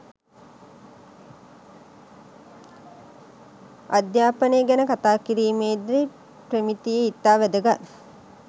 අධ්‍යාපනය ගැන කතා කිරීමේ දී ප්‍රමිතිය ඉතා වැදගත්